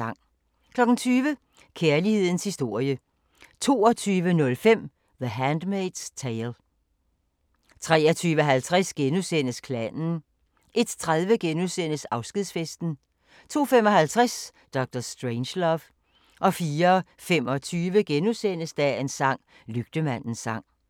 20:00: Kærlighedens historie 22:05: The Handmaid's Tale 23:50: Klanen * 01:30: Afskedsfesten * 02:55: Dr. Strangelove 04:25: Dagens sang: Lygtemandens sang *